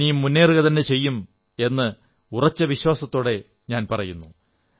ഇനിയും മുന്നേറുകതന്നെ ചെയ്യും എന്ന് ഞാൻ ഉറച്ച വിശ്വാസത്തോടെ പറയുന്നു